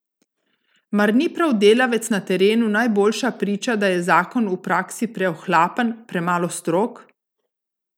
Mar ni prav delavec na terenu najboljša priča, da je zakon v praksi preohlapen, premalo strog?